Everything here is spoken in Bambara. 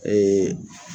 Ee